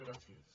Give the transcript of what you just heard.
gràcies